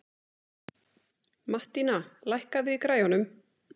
Mattína, lækkaðu í græjunum.